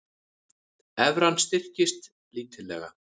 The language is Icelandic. Evran styrkist lítillega